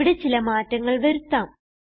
ഇവിടെ ചില മാറ്റങ്ങൾ വരുത്താം